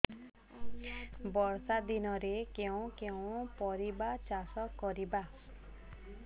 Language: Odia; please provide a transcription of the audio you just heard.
ବର୍ଷା ଦିନରେ କେଉଁ କେଉଁ ପରିବା ଚାଷ କରିବା